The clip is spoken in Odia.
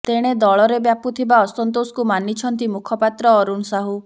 ତେଣେ ଦଳରେ ବ୍ୟାପୁଥିବା ଅସନ୍ତୋଷକୁ ମାନିଛନ୍ତି ମୁଖପାତ୍ର ଅରୁଣ ସାହୁ